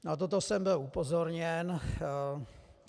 Na toto jsem byl upozorněn.